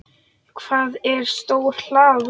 Það er stór hlaða.